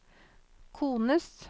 kones